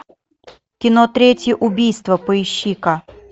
кино третье убийство поищи ка